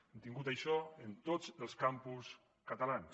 hem tingut això en tots els campus catalans